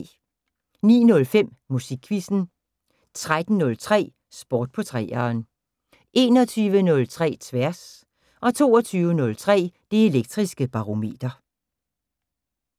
09:05: Musikquizzen 13:03: Sport på 3'eren 21:03: Tværs 22:03: Det Elektriske Barometer